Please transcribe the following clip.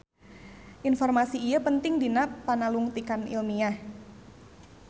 Informasi ieu penting dina panalungtikan ilmiah.